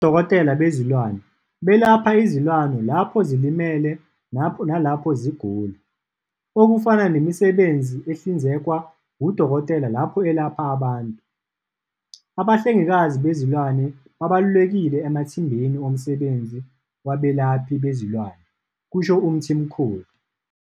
Odokotela bezilwane belapha izilwane lapho zilimele nalapho zigula, okufana nemisebenzi ehlinzekwa wudokotela lapho elapha abantu. Abahle ngikazi bezilwane babalulekile emathimbeni omsebenzi wabelaphi bezilwane, kusho uMthimkhulu.